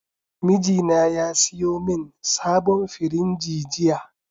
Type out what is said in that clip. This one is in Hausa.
Mijina ya siyo min sabon firinji jiya